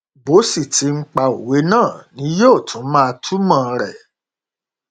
bó sì ti ń pa òwe náà ni yóò tún máa túmọ rẹ